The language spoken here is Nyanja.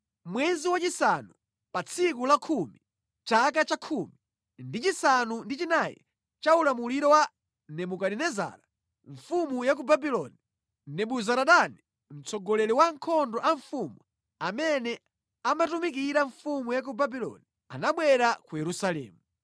Mwezi wachisanu, pa tsiku lakhumi, chaka cha 19 cha ulamuliro wa Nebukadinezara mfumu ya ku Babuloni, Nebuzaradani mtsogoleri wa ankhondo a mfumu, amene amatumikira mfumu ya ku Babuloni, anabwera ku Yerusalemu.